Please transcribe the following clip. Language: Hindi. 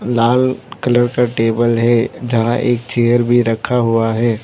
लाल कलर का टेबल है जहां एक चेयर भी रखा हुआ है।